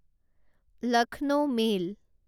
Lucknow mail